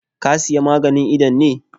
Ka Siya maganin idon ne?